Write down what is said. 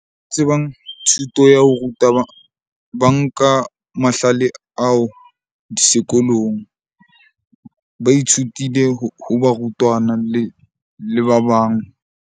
Tsebang thuto ya ho ruta ba nka mahlale ao sekolong. Ba ithutile ho barutwana le ba bang.